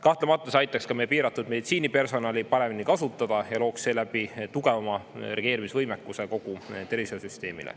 Kahtlemata see aitaks ka meie piiratud meditsiinipersonali paremini kasutada ja looks seeläbi tugevama reageerimisvõimekuse kogu tervishoiusüsteemile.